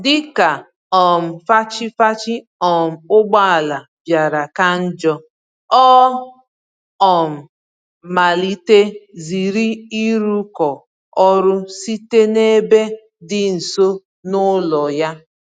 Dịka um fachi-fachi um ụgbọala bịara ka njọ, ọ um malite ziri ịrụkọ ọrụ site n'ebe dị nso n'ụlọ ya.